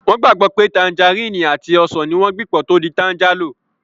Wọ́n gbàgbọ́ pé tanjarínnì àti ọsàn ní wọ́n gbìn pọ̀ tó di tanjálò